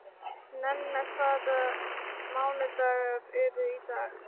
Nenna, hvaða mánaðardagur er í dag?